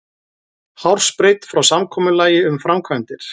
Hársbreidd frá samkomulagi um framkvæmdir